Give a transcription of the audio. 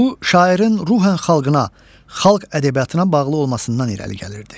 Bu şairin ruən xalqına, xalq ədəbiyyatına bağlı olmasından irəli gəlirdi.